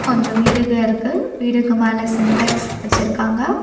கொஞ்சோ வீடுக இருக்கு வீடுக்கு மேல சின்டெக்ஸ் வெச்சுருக்காங்க.